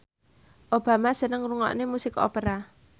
Obama seneng ngrungokne musik opera